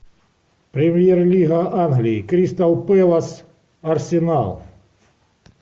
премьер лига англии кристал пэлас арсенал